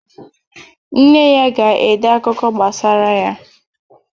Nne ya ga-ede akụkọ gbasara ya.